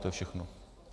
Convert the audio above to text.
To je všechno.